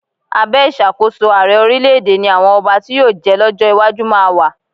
Abẹ́ ìṣàkóso ààrẹ orílẹ̀-èdè ni àwọn ọba tí yóò jẹ́ lọ́jọ́ iwájú máa wà.